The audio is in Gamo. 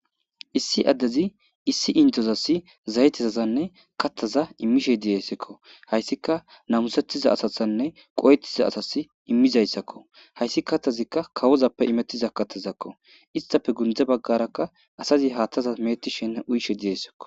Issi addezi issi intozas zayetizasanne kattaza immishe diyessekko hayssika namusettiza asathanne qoyettiza asas immizayssakko hayssi kattazikka kawozappe imettiza kattazakko istafe gundze baggarakka asazi haaththaza meettishenne uyishe diyeyssekko.